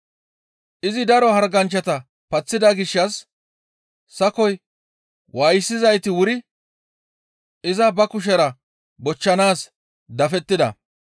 Izi daro harganchchata paththida gishshas sakoy waayisizayti wuri iza ba kushera bochchanaas dafettida.